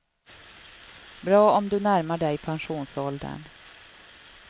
Bra om du närmar dig pensionsåldern.